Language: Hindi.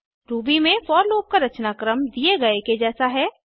रूबी में फोर लूप का रचनाक्रम दिए गए के जैसा है